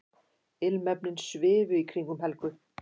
Ilmefnin svifu í kringum Helgu.